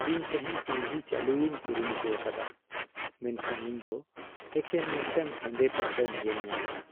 ᱤᱧ ᱛᱮᱦᱮᱧ ᱴᱤᱵᱷᱤ ᱪᱟᱞᱩᱭᱤᱧ ᱠᱩᱨᱩᱢᱩᱴᱩ ᱟᱠᱟᱫᱟ ᱢᱮᱱᱠᱷᱟᱱ ᱤᱧ ᱫᱚ ᱮᱠᱮᱱ ᱢᱤᱫᱴᱟᱝ ᱦᱮᱸᱫᱮ ᱯᱚᱨᱫᱟᱧ ᱧᱮᱞ ᱧᱟᱢᱮᱫᱟ ᱾